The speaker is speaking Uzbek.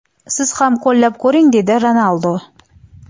Siz ham qo‘llab ko‘ring!”, dedi Ronaldu.